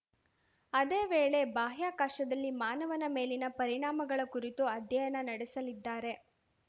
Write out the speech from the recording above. ಅದೇ ವೇಳೆ ಬಾಹ್ಯಾಕಾಶದಲ್ಲಿ ಮಾನವನ ಮೇಲಿನ ಪರಿಣಾಮಗಳ ಕುರಿತು ಅಧ್ಯಯನ ನಡೆಸಲಿದ್ದಾರೆ